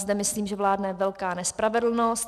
Zde myslím, že vládne velká nespravedlnost.